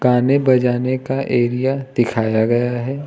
गाने बजाने का एरिया दिखाया गया है।